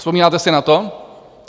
Vzpomínáte si na to?